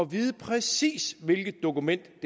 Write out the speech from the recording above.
vide præcis hvilket dokument